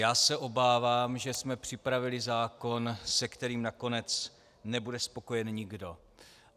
Já se obávám, že jsme připravili zákon, se kterým nakonec nebude spokojen nikdo.